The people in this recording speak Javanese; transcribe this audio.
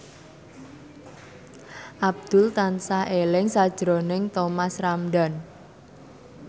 Abdul tansah eling sakjroning Thomas Ramdhan